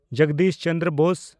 Jagadish Chandra Bose